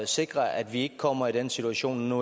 sikre at vi ikke kommer i den situation når